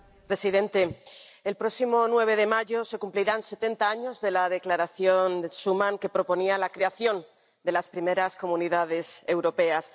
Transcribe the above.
Señor presidente, el próximo 9 de mayo se cumplirán setenta años de la Declaración Schuman, que proponía la creación de las primeras Comunidades Europeas.